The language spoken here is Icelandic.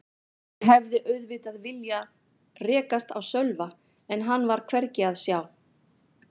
Ég hefði auðvitað viljað rekast á Sölva en hann var hvergi að sjá.